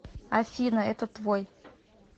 афина это твой